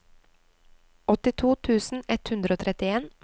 åttito tusen ett hundre og trettien